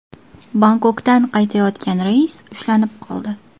Bangkokdan qaytayotgan reys ushlanib qoldi.